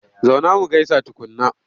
Zauna mu gaisa tukunna!